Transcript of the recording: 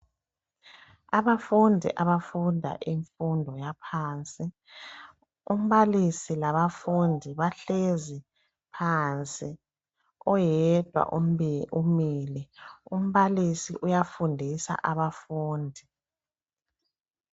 Abafundi abafunda imfundo yaphansi, umbalisi labafundi bahlezi phansi, oyedwa umile. Umbalisi uyafundisa abafundi.